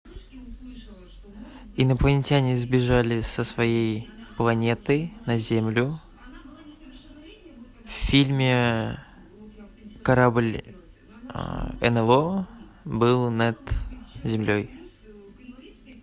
инопланетяне сбежали со своей планеты на землю в фильме корабль нло был над землей